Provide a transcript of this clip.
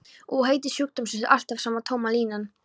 Og heiti sjúkdómsins alltaf sama tóma línan.